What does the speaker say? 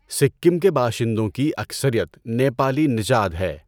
سکم کے باشندوں کی اکثریت نیپالی نژاد ہے۔